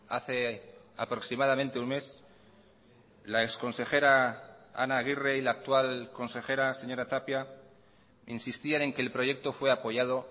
hace aproximadamente un mes la ex consejera ana aguirre y la actual consejera señora tapia insistían en que el proyecto fue apoyado